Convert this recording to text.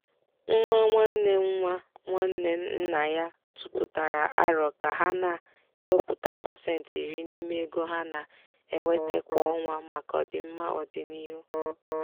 nwa nwanne nwa nwanne nna ya tụpụtara árò ka ha na-ewepụta pasentị iri n'ime ego ha na-enweta kwa ọnwa maka ọdịmma ọdịnihu.